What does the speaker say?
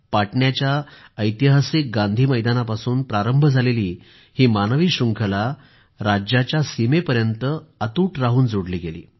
पाटण्याच्या ऐतिहासिक गांधी मैदानापासून प्रारंभ झालेली ही मानवी शृंखला राज्याच्या सीमेपर्यंत अतूट राहून जोडली गेली